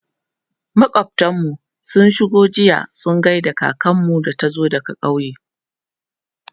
makwaftan mu sun shigo jiya su gaida kakanmu da ta zo daga ƙauye